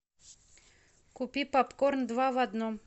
купи попкорн два в одном